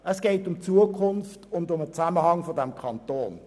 Es geht um die Zukunft und um den Zusammenhalt in diesem Kanton.